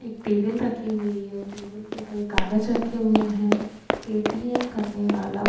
एक टेबल रखी हुई है। टेबल पर कई कागज रखे हुए हैं। पेटीएम करने वाला ---